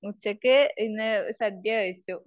ഉച്ചയ്ക്ക് ഇന്നു സദ്യ കഴിച്ചു.